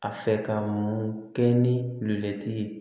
A fɛ ka mun kɛ ni ye